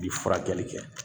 I bi furakɛli kɛ